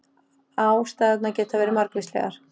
Ástæðurnar geta verið margvíslegar